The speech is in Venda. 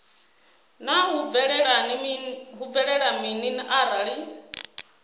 naa hu bvelela mini arali